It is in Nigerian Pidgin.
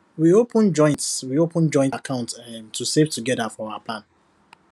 we open joint we open joint account um to save together for our plan